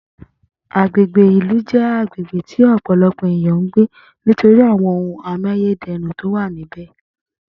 Agbègbè ìlú jé agbègbè tí ò̩pò̩lo̩pò̩ ènìyàn ń gbé nítorí àwo̩n ohun amáyéde̩rùn tí ó wà níbè̩